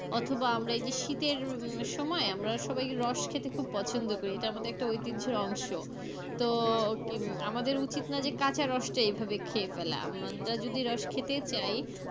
অথবা আমরা এই যে শীতের সময় উহ আমরা সবাই রস খেতে খুব পছন্দ করি এটা আমাদের একটা ঐতিহ্যের অংশ তো কি আমাদের উচিত না যে কাচা রসটা এভাবে খেয়ে ফেলা আমরা যদি রস খেতে চাই,